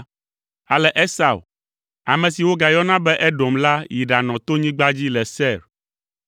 Ale Esau, ame si wogayɔna be Edom la yi ɖanɔ tonyigba dzi le Seir.